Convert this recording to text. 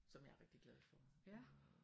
Som jeg er rigtig glad for